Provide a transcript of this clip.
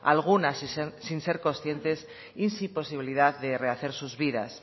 algunas sin ser conscientes y sin posibilidad de rehacer sus vidas